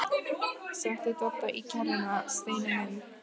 SETTU DODDA Í KERRUNA, STEINI MINN!